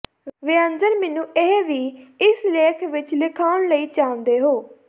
ਵਿਅੰਜਨ ਮੈਨੂੰ ਇਹ ਵੀ ਇਸ ਲੇਖ ਵਿਚ ਲਿਆਉਣ ਲਈ ਚਾਹੁੰਦੇ ਹੋ